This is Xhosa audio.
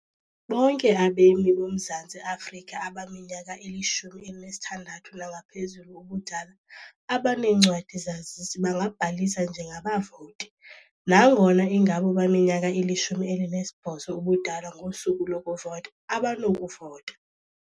Bonke abemi boMzantsi Afrika abaminyaka ili-16 nangaphezulu ubudala abaneencwadi-zazisi bangabhalisa njengabavoti nangona ingabo baminyaka ili-18 ubudala ngosuku lokuvota abanokuvota.